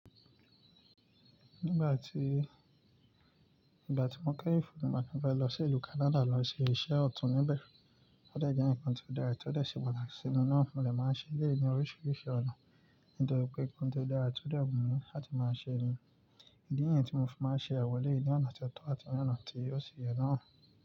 Nígbà tí, nígbà tí mo kẹ́yin fún un pé mo fẹ́ lọ sí ìlú Canada lọ ṣe iṣẹ́ ọ̀tún níbẹ̀. Ó dẹ jẹ nǹkan tó dára, tó ṣe pàtàkì sí mi náà. Mo dè máa n ṣe eléyi ni oríṣiríṣi ọ̀nà, nítorí pé nkán tó dára tó dẹ́ wu mi láti máa ṣe ni. Idi nìyẹn tí mo fi máa n ṣe àwọn eléyi ní onà tí ó tọ́ àti ni onà tí ó ṣi ye náà.